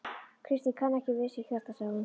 Kristín kann ekki við sig hérna sagði hún.